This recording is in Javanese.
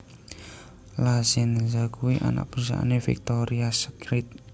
La Senza kuwi anak perusahaane Victoria's Secret